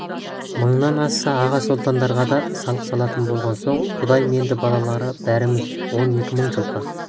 мыңнан асса аға-сұлтандарға да салық салатын болған соң құдайменді балалары барымыз он екі мың жылқы